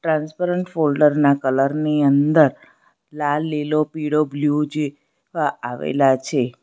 Transparent folder ના colour ની અંદર લાલ લીલો પીળો બ્લુ જે વા આવેલા છે.